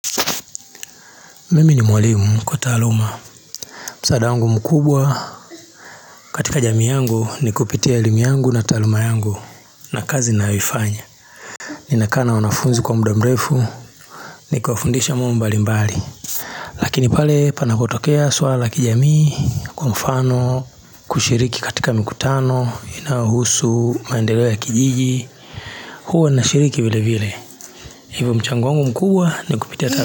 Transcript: Mimi ni mwalimu kwa taaluma msaada wangu mkubwa katika jamii yangu ni kupitia elimu yangu na taaluma yangu na kazi ninayoifanya Nina kaa na wanafunzi kwa muda mrefu niki wafundisha mambo mbali mbali Lakini pale panakotokea swala la kijamii kwa mfano kushiriki katika mikutano inayohusu maendeleo ya ya kijiji huwa nashiriki vile vile hivyo mchango wangu mkubwa ni kupitia taaluma.